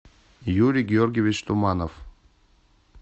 юрий георгиевич туманов